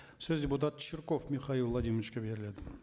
сөз депутат чирков михаил владимировичке беріледі